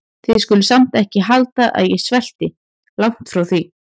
Þið skuluð samt ekki halda að ég svelti- langt því frá.